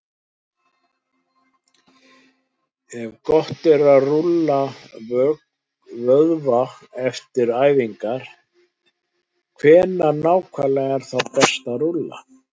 Ef gott er að rúlla vöðva eftir æfingar, hvenær nákvæmlega er þá best að rúlla?